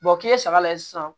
k'i ye saga lajɛ sisan